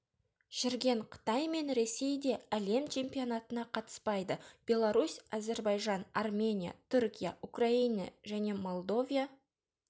жүрген қытай мен ресей де әлем чемпионатына қатыспайды беларусь әзербайжан армения түркия украина және молдовия